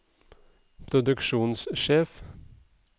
produksjonssjef